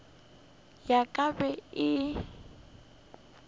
ya ka e be e